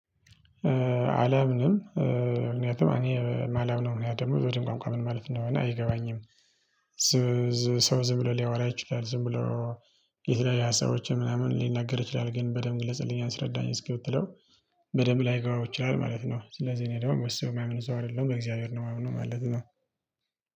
አላምንምን ምክንያቱም እኔ ማለም ነው እኔ ደግሞ ወደ ቋንቋ ምን? ማለት ነው እና አይገባኝም። ሰው ዝም ብሎ ሊያወራ ይችላል ዝም ብሎ። የተለያየ ሀሳቦችን ምናምን ሊናገር ይችላል ግን በደንብ ግለጽልኝ አንስረዳኝ እስኪ ብትለው። በደንብ ላይገባው ይችላል ማለት ነው። ስለዚህ እኔ ደግሞ መስዋዕት የማያምን እዛው አይደለም በእግዚአብሔር ነው የማያምነው ማለት ነው።